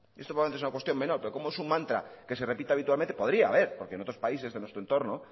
esto probablemente es una cuestión menorl pero como es un mantra que se repite habitualmente podría haberl porque en otros países de nuestro entorno